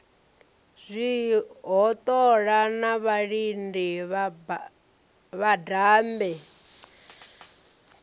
zwihoṱola na vhalidi vhadabe na